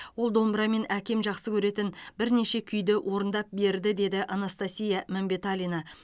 ол домбырамен әкем жақсы көретін бірнеше күйді орындап берді деді анастасия мәмбеталина